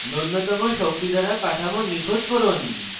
নুন্যতম শক্তি দ্বারা কাঠামো নিখুত করুন